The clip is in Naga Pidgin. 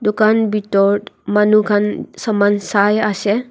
dukan bitor manu khan saman saiase.